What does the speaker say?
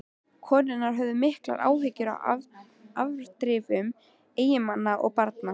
Konurnar höfðu miklar áhyggjur af afdrifum eiginmanna og barna.